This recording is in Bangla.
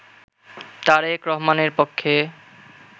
তারেক রহমানের পক্ষে